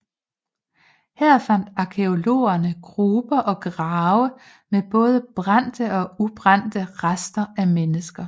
Her fandt arkæologerne gruber og grave med både brændte og ubrændte rester af mennesker